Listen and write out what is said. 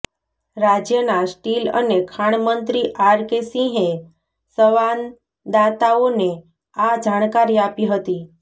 રાજ્યના સ્ટીલ અને ખાણ મંત્રી આર કે સિંહે સંવાદાતાઓને આ જાણકારી આપી હતી